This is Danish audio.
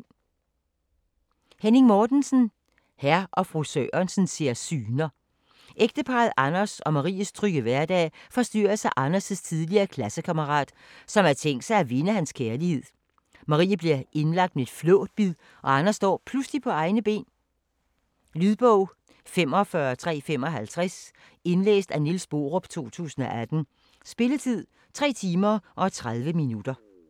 Mortensen, Henning: Hr. & fru Sørensen ser syner Ægteparret Anders og Maries trygge hverdag forstyrres af Anders' tidligere klassekammerat, som har tænkt sig at vinde hans kærlighed. Marie bliver indlagt med et flåtbid og Anders står pludselig på egne ben. Lydbog 45355 Indlæst af Niels Borup, 2018. Spilletid: 3 timer, 30 minutter.